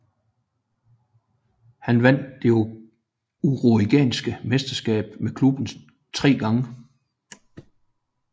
Han vandt det uruguayanske mesterskab med klubben tre gange